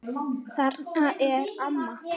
Þarna er amma!